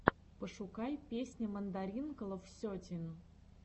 пошукай песня мандаринкалов сетин